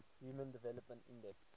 human development index